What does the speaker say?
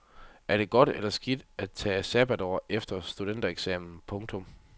Er det godt eller skidt at tage sabbatår efter studentereksamen. punktum